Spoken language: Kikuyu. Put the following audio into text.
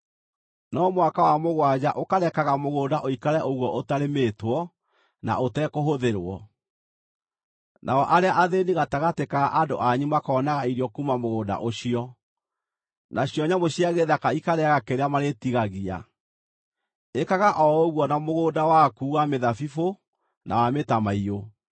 no mwaka wa mũgwanja ũkarekaga mũgũnda ũikare ũguo ũtarĩmĩtwo na ũtekũhũthĩrwo. Nao arĩa athĩĩni gatagatĩ ka andũ anyu makonaga irio kuuma mũgũnda ũcio, nacio nyamũ cia gĩthaka ikarĩĩaga kĩrĩa marĩtigagia. Ĩkaga o ũguo na mũgũnda waku wa mĩthabibũ na wa mĩtamaiyũ.